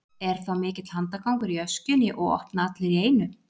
Er þá mikill handagangur í öskjunni og opna allir í einu.